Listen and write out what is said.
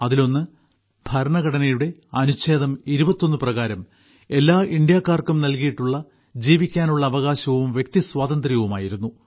അതിലൊന്ന് ഭരണഘടനയുടെ അനുഛേദം 21 പ്രകാരം എല്ലാ ഇന്ത്യക്കാർക്കും നൽകിയിട്ടുള്ള ജീവിക്കാനുള്ള അവകാശവും വ്യക്തിസ്വാതന്ത്ര്യവും ആയിരുന്നു